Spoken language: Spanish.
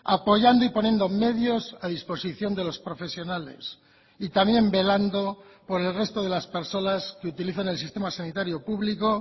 apoyando y poniendo medios a disposición de los profesionales y también velando por el resto de las personas que utilizan el sistema sanitario público